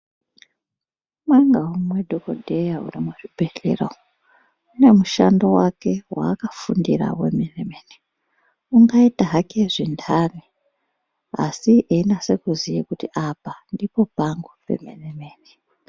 Umwe ngaumwe dhokodheya uri muzvibhedhlera umu, une mushando wake waakafundira wemene-mene ungaita hake zventaro asi einase kuziya kuti apa ndipo pangu pemene-mene.